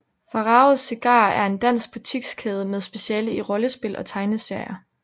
Faraos Cigarer er en dansk butikskæde med speciale i rollespil og tegneserier